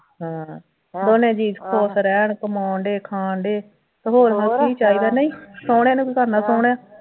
ਦੋਨੇ ਜੀਅ ਖੁਸ਼ ਰਹਿਣ ਕਮਾਉਣ ਡਏ ਖਾਣ ਡਏ ਤੇ ਹੋਰ ਉਹਨਾਂ ਨੂੰ ਕੀ ਚਾਹੀਦਾ ਨਹੀਂ ਸੋਹਣੇ ਨੂੰ ਕੀ ਕਰਨਾ ਸੋਹਣੇ